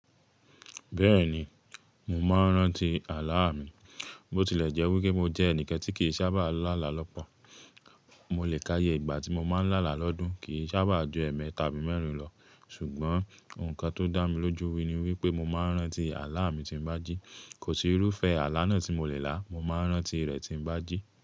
Bẹ́ẹ̀ni, mo máa ń rántí àlá mi. Bó tilẹ̀ jẹ́ wí pé mo jẹ́ ẹnìkẹ́ tí kì í sábà lálà lọ́pọ̀. Mo lè káàyè ìgbà tí mo máa ń lálà lọ́dún kì í sábà ju ẹ̀ẹ̀mẹ́ tàbí mẹ́rin lọ, ṣùgbọ́n nǹkan tó dá mi lójú wi ni wípé mo máa ń rántí àlá mi tí ń bá jí. Kò sí irúfẹ́ àlá náà tí mo lè lá, mo máa ń rántí rẹ̀ tí ń bá jí.